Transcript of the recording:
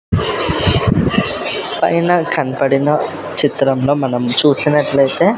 పైన కన్పడిన చిత్రంలో మనం చూసినట్లయితే--